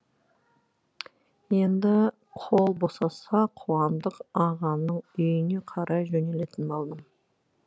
енді қол босаса қуандық ағаның үйіне қарай жөнелетін болдым